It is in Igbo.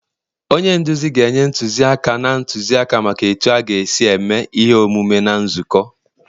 onye nduzi ga-enye ntụziaka na ntụzịaka maka otu a ga-esi eme ihe omume na nzukọ